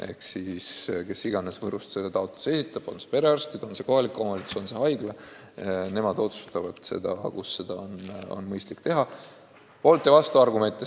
Ehk siis: kes iganes Võrust selle taotluse esitab – on need perearstid, on see kohalik omavalitsus, on see haigla –, nemad otsustavad, kus on mõistlik tervisekeskus avada.